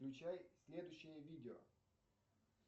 включай следующее видео